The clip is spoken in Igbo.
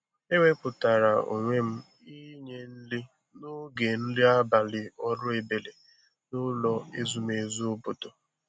e wepụtara onwe m inye nri n'oge nri abalị ọrụ ebere n'ụlọ ezumezu obodo